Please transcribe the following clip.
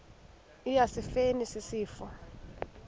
eya esifeni isifo